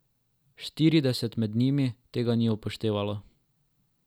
Štirideset med njimi tega ni upoštevalo.